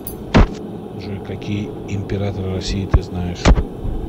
джой какие императоры россии ты знаешь